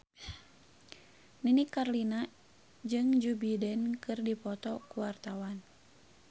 Nini Carlina jeung Joe Biden keur dipoto ku wartawan